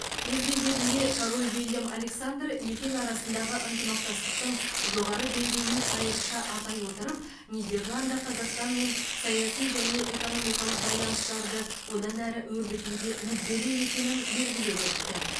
өз кезегінде король виллем александр екі ел арасындағы ынтымақтастықтың жоғары деңгейін айрықша атай отырып нидерланд қазақстанмен саяси және экономикалық байланыстарды одан әрі өрбітуге мүдделі екенін белгілеп өтті